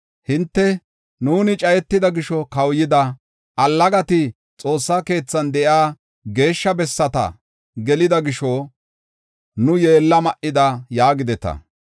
Hinte, “Nuuni cayetida gisho kawuyida; allagati Xoossa keethan de7iya geeshsha bessata gelida gisho, nu yeella ma7ida” yaagideta.